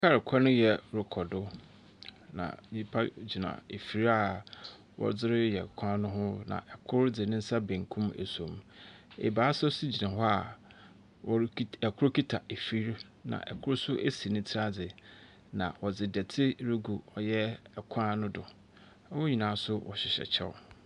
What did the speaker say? Kaal kwan yɛ rekɔdo na nipa gyina efiri a wɔdi yɛ kwan no hu na ɛkor dzi nsa benkum na esom. Ebaasa nso gyina hɔ a ɛkor kita efiri na ɛkor nso esi niti adze na ɔdzi dɔte regu ɔyɛ ekwan no do. Wɔn nyinaa so hyehyɛ ɛkyɛw.